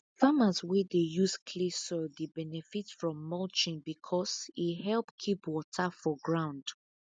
farmers wey dey use clay soil dey benefit from mulching because e help keep water for ground